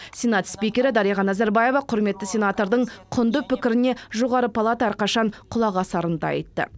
сенат спикері дариға назарбаева құрметті сенатордың құнды пікіріне жоғары палата әрқашан құлақ асарын да айтты